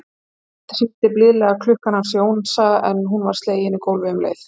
Fyrst hringdi blíðlega klukkan hans Jónsa en hún var slegin í gólfið um leið.